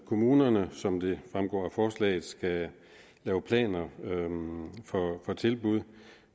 kommunerne som det fremgår af forslaget skal lave planer for tilbud